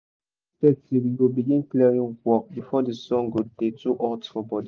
na for eight thirty we go begin clearing work before the sun go dey too hot for body